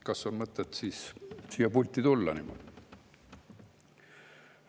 Kas on mõtet siis siia pulti tulla?